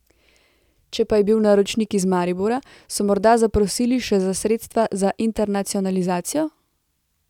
Če pa je bil naročnik iz Maribora, so morda zaprosili še za sredstva za internacionalizacijo?